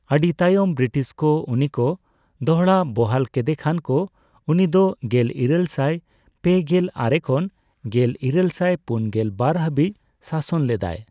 ᱟᱹᱰᱤ ᱛᱟᱭᱚᱢ ᱵᱨᱤᱴᱤᱥ ᱠᱚ ᱩᱱᱤ ᱠᱚ ᱫᱚᱲᱦᱟᱵᱚᱦᱟᱞ ᱠᱮᱫᱮᱠᱷᱟᱱ ᱠᱚ ᱩᱱᱤ ᱫᱚ ᱜᱮᱞᱤᱨᱟᱹᱞᱥᱟᱭ ᱯᱮᱜᱮᱞ ᱟᱨᱮ ᱠᱷᱚᱱ ᱜᱮᱞᱤᱨᱟᱹᱞᱥᱟᱭ ᱯᱩᱱᱜᱮᱞ ᱵᱟᱨ ᱦᱟᱹᱵᱤᱡ ᱥᱟᱥᱚᱱ ᱞᱮᱫᱟᱭ ᱾